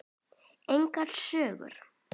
Engar sögur.